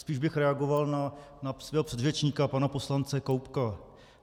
Spíš bych reagoval na svého předřečníka pana poslance Koubka.